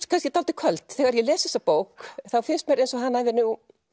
kannski dálítið köld þegar ég les þessa bók þá finnst mér eins og hann hafi nú